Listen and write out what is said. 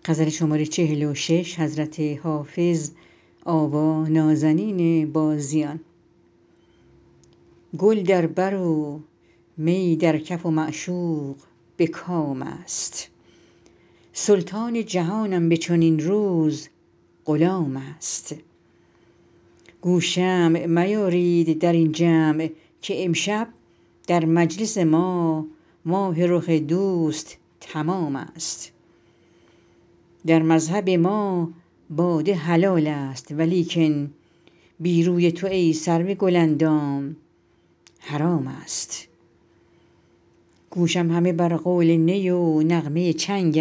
گل در بر و می در کف و معشوق به کام است سلطان جهانم به چنین روز غلام است گو شمع میارید در این جمع که امشب در مجلس ما ماه رخ دوست تمام است در مذهب ما باده حلال است ولیکن بی روی تو ای سرو گل اندام حرام است گوشم همه بر قول نی و نغمه چنگ